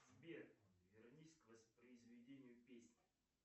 сбер вернись к воспроизведению песни